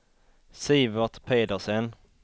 Sivert Pedersen